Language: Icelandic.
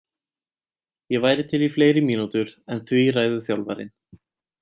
Ég væri til í fleiri mínútur en því ræður þjálfarinn.